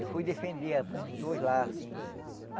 Eu fui defender ah uns dois lá, assim.